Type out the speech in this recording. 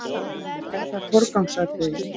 Er það forgangsatriði?